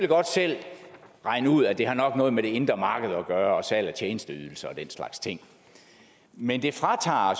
godt selv regne ud at det nok har noget med det indre marked at gøre og salg af tjenesteydelser og den slags ting men det fratager